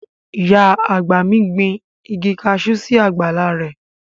Ìyá àgbà mi gbin igi kaṣú sí àgbàlá rẹ̀